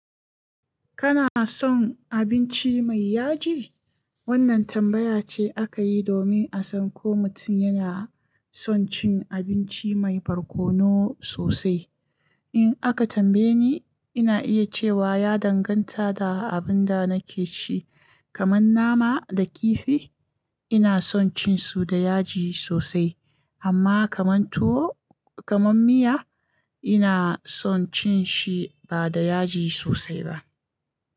Kana son abinci mai yaji? Wannan tambaya ce aka yi domin a san ko mutum yana son cin abinci mai barkono sosai. In aka tambaye ni, ina iya cewa ya danganta da abin da nake ci. Kaman nama da kifi, ina son cin su da yaji sosai, amma kaman tuwo, kaman miya, ina son cin shi ba da yaji sosai ba.